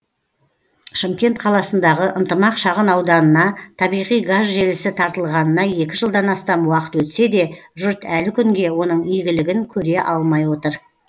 шымкент қаласындағы ынтымақ шағын ауданына табиғи газ желісі тартылғанына екі жылдан астам уақыт өтсе де жұрт әлі күнге оның игілігін көре алмай отыр